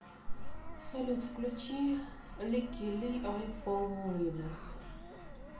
салют включи ликки ли ай фоллоу риверс